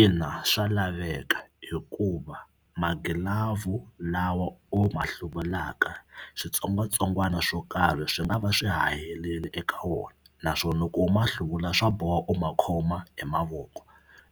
Ina swa laveka hikuva magilavhu lawa u ma hluvulaka switsongwatsongwana swo karhi swi nga va swi haherile eka wona naswona loko u ma hluvula swa boha u ma khoma hi mavoko